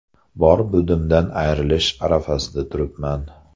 Bor-budimdan ayrilish arafasida turibman.